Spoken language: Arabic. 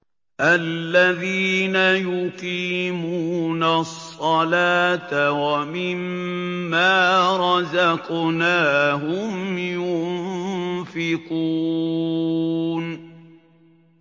الَّذِينَ يُقِيمُونَ الصَّلَاةَ وَمِمَّا رَزَقْنَاهُمْ يُنفِقُونَ